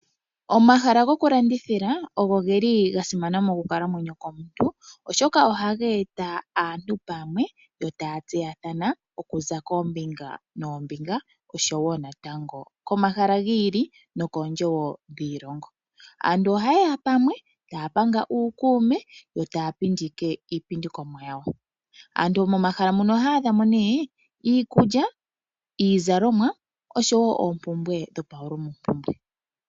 Omahala gokulandithila oga simana mokukalamwenyo komuntu, oshoka ohaga eta aantu pamwe yo taya tseyathana okuza koombinga noombinga oshowo komahala gi ili nokoondje wo dhiilongo. Aantu ohaye ya pamwe taya panga uukuume yo taya pindike iipindikomwa yawo. Aantu momahala muno ohaya adha mo nee iikulya, iizalomwa noshowo oompumbwe dhopaulumwempumbwe.